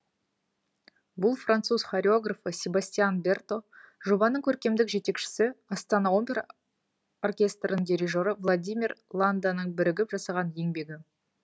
бұл француз хореографы себастьян берто жобаның көркемдік жетекшісі астана опера оркестрінің дирижері владимир ланданың бірігіп жасаған еңбегі